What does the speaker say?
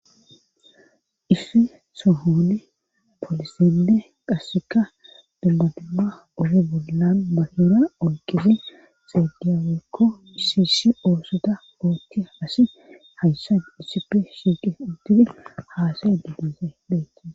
Ifi sohoone polisende qasseka dummadumma odo bollan makeera olqifi xeediya wekko isiisi oosota ootti asi hayssan disipe shiiqe uddifi haasa edibbese deehe